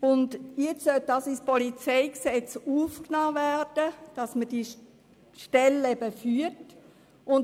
Nun soll ins PolG aufgenommen werden, dass diese Stelle geführt wird.